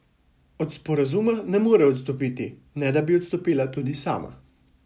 Od sporazuma ne more odstopiti, ne da bi odstopila tudi sama.